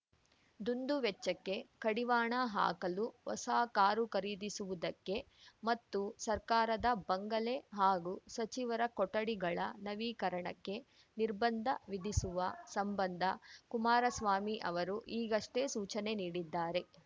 ದುಂದುವೆಚ್ಚಕ್ಕೆ ಕಡಿವಾಣ ಹಾಕಲು ಹೊಸ ಕಾರು ಖರೀದಿಸುವುದಕ್ಕೆ ಮತ್ತು ಸರ್ಕಾರದ ಬಂಗಲೆ ಹಾಗೂ ಸಚಿವರ ಕೊಠಡಿಗಳ ನವೀಕರಣಕ್ಕೆ ನಿರ್ಬಂಧ ವಿಧಿಸುವ ಸಂಬಂಧ ಕುಮಾರಸ್ವಾಮಿ ಅವರು ಈಗಷ್ಟೇ ಸೂಚನೆ ನೀಡಿದ್ದಾರೆ